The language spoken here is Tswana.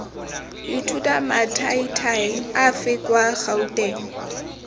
ithuta mathaithai afe kwa gouteng